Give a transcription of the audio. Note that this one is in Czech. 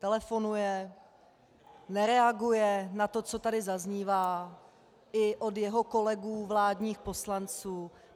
Telefonuje, nereaguje na to, co tady zaznívá i od jeho kolegů vládních poslanců.